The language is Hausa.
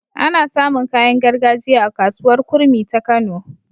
Ana samun kayan gargajiya a kasuwar kurmi ta kano